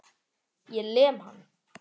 Ég lem hann.